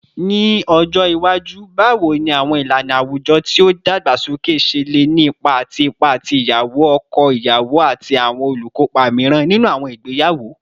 Ni ọjọ iwaju, bawo ni awọn ilana awujọ ti o dagbasoke ṣe le ni ipa ati ipa ti iyawo, ọkọ iyawo, ati awọn olukopa miiran ninu awọn igbeyawo?